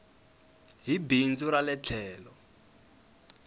hi bindzu ra le tlhelo